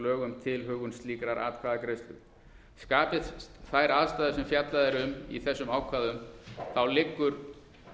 lög um tilhögun slíkrar atkvæðagreiðslu skapist þær aðstæður sem fjallað er um í þessum ákvæðum liggur